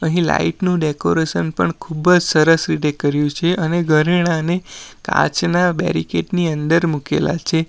અહીં લાઈટ નું ડેકોરેશન પણ ખુબ જ સરસ રીતે કર્યું છે અને ઘરેણાને કાચના બેરીકેડ ની અંદર મુકેલા છે.